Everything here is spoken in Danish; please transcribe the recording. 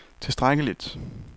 tilstrækkeligt